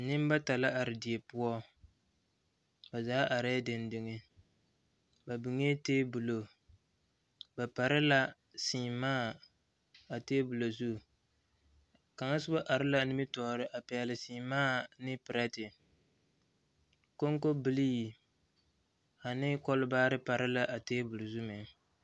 Nimbata la are die poɔ ba zaa arɛɛ degdeg ba biŋee tabolo ba pare la seemaa a tabolɔ zu kaŋa soba are la a nimitɔɔriŋ a pɛgle seemaa ne perɛte konkobilee ane kɔlibaare pare la a tabol zu meŋ.